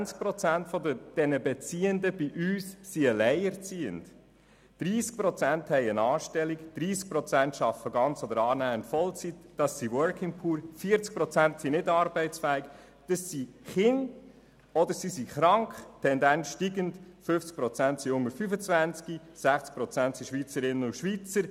20 Prozent der Beziehenden sind alleinerziehend, 30 Prozent haben eine Anstellung, 30 Prozent arbeiten in Vollzeit oder annähernd in Vollzeit – es sind Working Poor –, 40 Prozent sind nicht arbeitsfähig – es sind Kinder oder Kranke, Tendenz steigend –, 50 Prozent sind unter 25-Jährige und 60 Prozent sind Schweizerinnen und Schweizer.